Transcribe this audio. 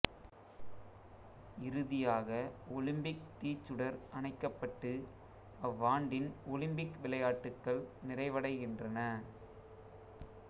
இறுதியாக ஒலிம்பிக் தீச்சுடர் அணைக்கப்பட்டு அவ்வாண்டின் ஒலிம்பிக் விளையாட்டுக்கள் நிறைவடைகின்றன